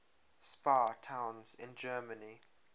spa towns in germany